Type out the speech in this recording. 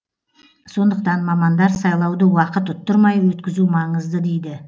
сондықтан мамандар сайлауды уақыт ұттырмай өткізу маңызды дейді